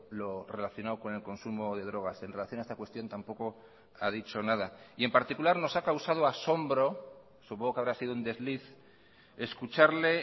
lo relacionado con el consumo de drogas en relación a esta cuestión tampoco ha dicho nada y en particular nos ha causado asombro supongo que habrá sido un desliz escucharle